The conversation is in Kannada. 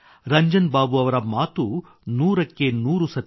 ರಂಜನ್ ಬಾಬು ಅವರ ಮಾತು ನೂರಕ್ಕೆ ನೂರು ಸತ್ಯ